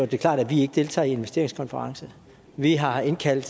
det klart at vi ikke deltager i investeringskonferencen vi har indkaldt